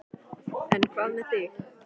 En hvað með þig.